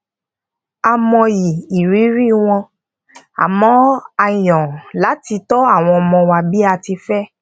a mọyì ìrírí wọn àmó a yan láti tó àwọn ọmọ wa bi a ti fe